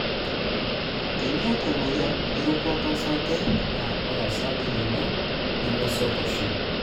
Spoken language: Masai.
teniaata emoyian erukoto osargr, na ore osarge lino nemesoto oshi.